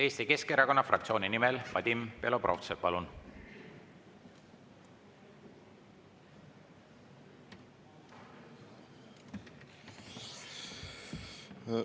Eesti Keskerakonna fraktsiooni nimel Vadim Belobrovtsev, palun!